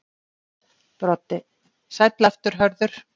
Broddi: Sæll aftur Hörður.